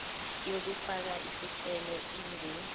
yokufaka isicelo ingu